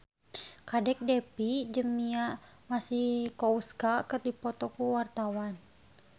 Kadek Devi jeung Mia Masikowska keur dipoto ku wartawan